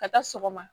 Ka taa sɔgɔma